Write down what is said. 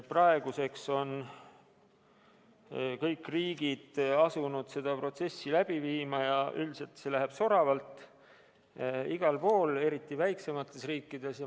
Praeguseks on kõik riigid asunud seda protsessi läbi viima ja üldiselt läheb see soravalt igal pool, eriti väiksemates riikides.